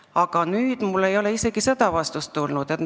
Aga nüüd ei ole mulle isegi seda vastust tulnud.